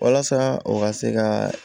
Walasa u ka se ka